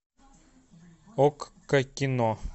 окко кино